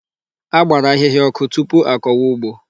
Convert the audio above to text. A gbara ahịhịa ọkụ tupu a kọwa ụgbọ.